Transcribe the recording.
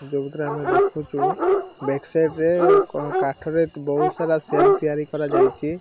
ଯୋଉଥିରେ ଆମେ ଦେଖୁଚୁ ବ୍ୟାକ୍ ସାଇଡ଼୍ ରେ କ କାଠରେ ଅ ବୋହୁତ୍ ସାରା ସେଲ୍ ତିଆରି କରାଯାଇଚି।